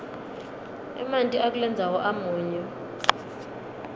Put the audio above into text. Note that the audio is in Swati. emanti akulendzawo amunyu